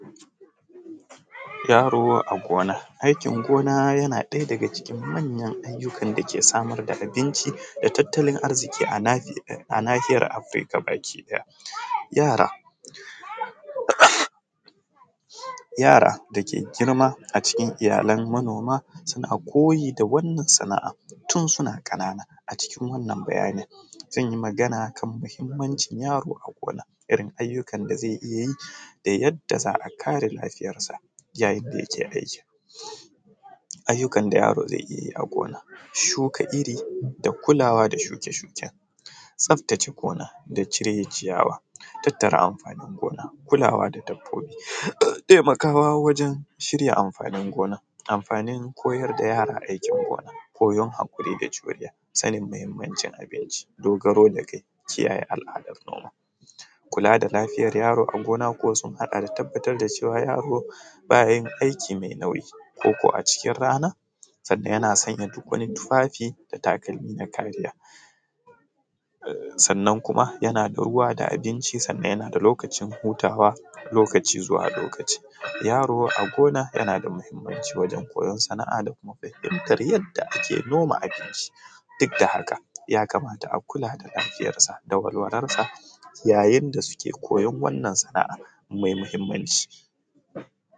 Yaro a gona, aikin gona yana ɗaya daga cikin manyan ayyukan dake samar da abinci da tattalin arziƙi a nahiyar Afrika baki ɗaya, yara dake girma a cikin iyalan manoma suna koyi da wannan sana’a tun suna ƙanana, a cikin wannan bayani zan yi magana akan mahimmanci yaro a gona domin ayyukan da zai iya yi da yadda za a kare lafiyarsa yayin da yake aikin ayyukan da yaro zai iyayi a gona, shuka iri da kulawa da shuke-shuken tsaftace gona da cire ciyawa, tattara amfanin gona kulawa da dabbobi taimakawa wajen shirya amfanin gona, amfanin koyar da yara aikin gona koyon hakuri da juriya sanin muhimmancin abinci dogaro dakai kiyaye al’adar noma kula da lafiyar yaro a gona ko sun haɗa da yaro bayayin aiki mai nauyi ko a cikin rana sannan yana sanya tufafi da takalmi na kariya sannan kuma yana da ruwa da abinci sannan yana da lokacin hutawa lokaci zuwa lokaci yaro a gona yana da muhimmanci wajen koyon sana’a da kuma ɗaukar yadda ake noma ake ci duk da haka ya kamata a kula da lafiyarsa da walwalarsa yayin da suke koyon wannan sana’a mai muhimmanci.